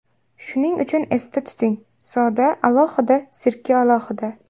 Shuning uchun esda tuting: soda alohida, sirka alohida.